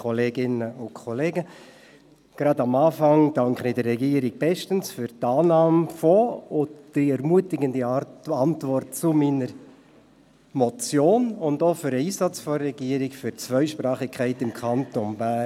Gleich zu Beginn danke ich der Regierung bestens für die Annahme meiner Motion und die ermutigende Antwort darauf sowie für den Einsatz der Regierung zur Förderung der Zweisprachigkeit im Kanton Bern.